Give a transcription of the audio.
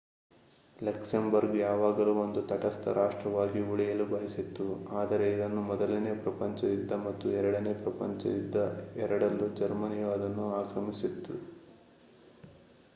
Luxembourg ಯಾವಾಗಲೂ ಒಂದು ತಟಸ್ಥ ರಾಷ್ಟ್ರವಾಗಿ ಉಳಿಯಲು ಬಯಸಿತ್ತು ಆದರೆ ಇದನ್ನು ಮೊದಲನೆಯ ಪ್ರಪಂಚ ಯುದ್ದ ಮತ್ತು ಎರಡನೇ ಪ್ರಪಂಚ ಯುದ್ದ ಎರಡರಲ್ಲೂ ಜರ್ಮನಿಯು ಅದನ್ನು ಆಕ್ರಮಿಸಿತ್ತು